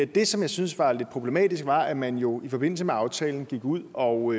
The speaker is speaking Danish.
det som jeg synes var lidt problematisk var at man jo i forbindelse med aftalen gik ud og